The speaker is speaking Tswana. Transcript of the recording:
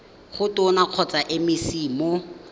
go tona kgotsa mec mo